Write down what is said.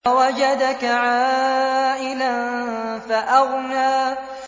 وَوَجَدَكَ عَائِلًا فَأَغْنَىٰ